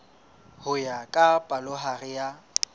ho ya ka palohare ya